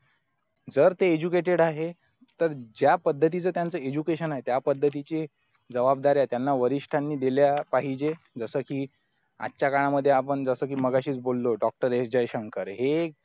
जर ते educated आहे तर ज्या पद्धतीचं त्यांच education आहे तर त्या पद्धतीचे जबाबदाऱ्या त्यांना वरिष्ठांनी दिल्या पाहिजे जस की आजच्या काळामध्ये आपण जस कि मगाशीच बोलो doctor एस जयशंकर